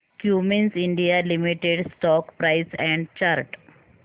Cummins India limited stock price and chart